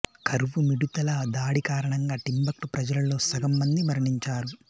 కరువు మిడుతల దాడి కారణంగా టింబక్టు ప్రజలలో సగం మంది మరణించారు